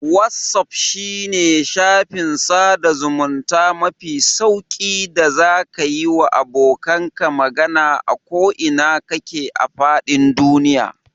Wazaf shine shafin sada zamunta mafi sauƙi da zaka yiwa abokanka magana a ko ina kake a fadin duniya.